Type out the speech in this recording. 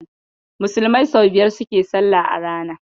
Musulmai sau biyar suke salla a rana.